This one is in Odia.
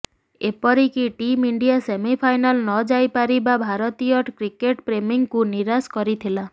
ଏପରିକି ଟିମ୍ ଇଣ୍ଡିଆ ସେମିଫାଇନାଲ ନଯାଇପାରିବା ଭାରତୀୟ କ୍ରିକେଟ୍ ପ୍ରେମୀଙ୍କୁ ନିରାଶ କରିଥିଲା